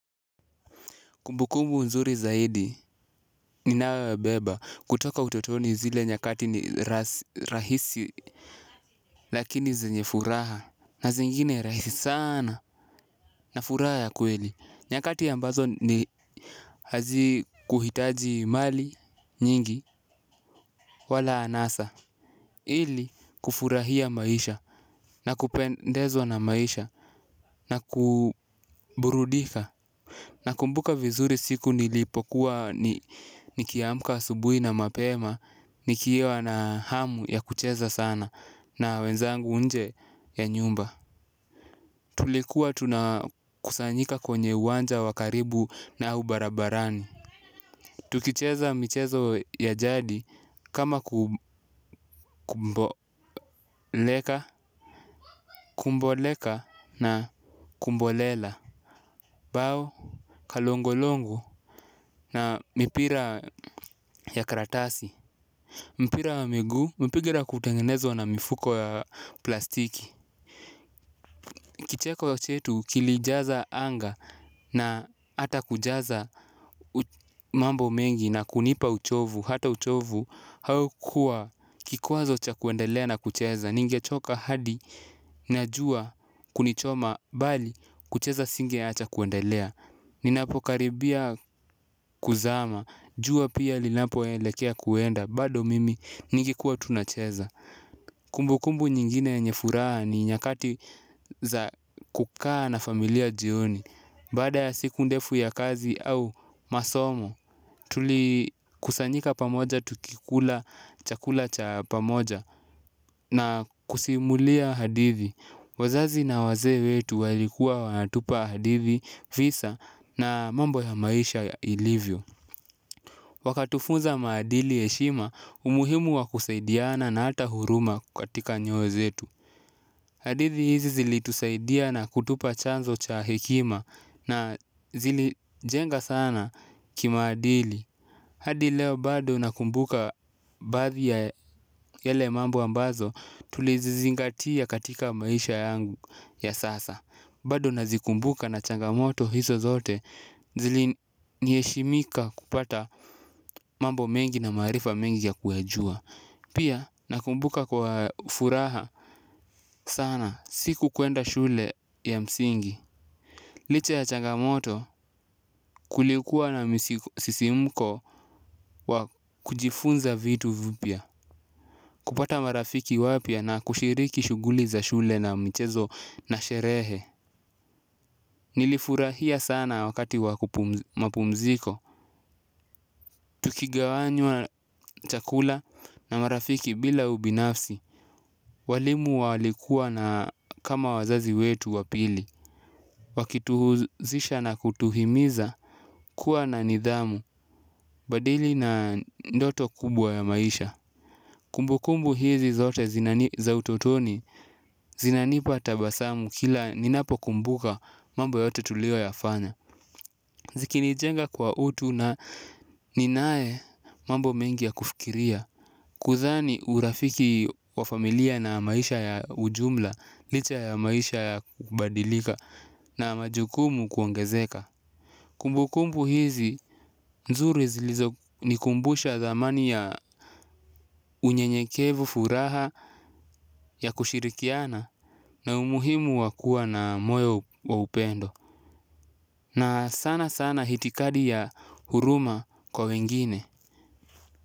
Kumbukumbu nzuri zaidi ninayoyabeba kutoka utotoni zile nyakati ni rahisi lakini zenye furaha na zingine rahisi sana na furaha ya kweli. Nyakati ambazo ni hazikuhitaji mali nyingi wala anasa ili kufurahia maisha na kupendezwa na maisha na kuburudika. Nakumbuka vizuri siku nilipokuwa nikiamka asubuhi na mapema, nikiwa na hamu ya kucheza sana na wenzangu nje ya nyumba. Tulikuwa tunakusanyika kwenye uwanja wa karibu na au barabarani. Tukicheza michezo ya jadi kama kumboleka, kumboleka na kumbolela, bao, kalongolongo na mipira ya karatasi. Mpira wa miguu, mpigira ule wa kutengenezwa na mifuko ya plastiki. Kicheko ya chetu kilijaza anga na hata kujaza mambo mengi na kunipa uchovu. Hata uchovu haukua kikwazo cha kuendelea na kucheza. Ningechoka hadi na jua kunichoma bali kucheza singeacha kuendelea. Ninapokaribia kuzama, jua pia linapoelekea kuenda. Bado mimi ningekuwa tu nacheza. Kumbukumbu nyingine yenye furaha ni nyakati za kukaa na familia jioni. Baada ya siku ndefu ya kazi au masomo, tulikusanyika pamoja tukikula chakula cha pamoja na kusimulia hadithi. Wazazi na wazee wetu walikua wanatupa hadithi visa na mambo ya maisha ilivyo. Wakatufunza maadili heshima umuhimu wa kusaidiana na hata huruma katika nyoyo zetu. Hadithi hizi zilitusaidia na kutupa chanzo cha hekima na zilijenga sana kimaadili. Hadi leo bado nakumbuka baadhi ya yale mambo ambazo tulizizingatia katika maisha yangu ya sasa. Bado nazikumbuka na changamoto hizo zote zili niheshimika kupata mambo mengi na maarifa mengi ya kuyajua. Pia nakumbuka kwa furaha sana siku kuenda shule ya msingi. Licha ya changamoto kulikuwa na misisimko wa kujifunza vitu vipya. Kupata marafiki wapya na kushiriki shughuli za shule na michezo na sherehe. Nilifurahia sana wakati wa mapumziko. Tukigawanywa chakula na marafiki bila ubinafsi. Walimu walikuwa na kama wazazi wetu wa pili. Wakituhuzisha na kutuhimiza kuwa na nidhamu badili na ndoto kubwa ya maisha. Kumbukumbu hizi zote za utotoni zinanipa tabasamu kila ninapokumbuka mambo yote tulioyafanya. Zikinijenga kwa utu na ninaye mambo mengi ya kufikiria. Kudhani urafiki wa familia na maisha ya ujumla. Licha ya maisha ya kubadilika na majukumu kuongezeka kumbukumbu hizi nzuri zilizonikumbusha thamani ya unyenyekevu furaha ya kushirikiana na umuhimu wa kua na moyo wa upendo na sana sana itikadi ya huruma kwa wengine.